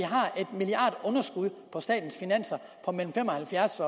underskud på statens finanser på mellem fem og halvfjerds